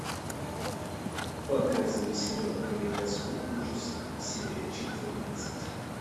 показывай сериал калейдоскоп ужасов серия четырнадцать